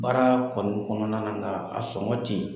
Baara kɔni kɔnɔna na nga a sɔngɔ ti